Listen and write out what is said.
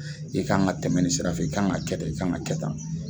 I kan ka tɛmɛ ni sira fɛ i kan ka kɛ tan i kan ka kɛ tan.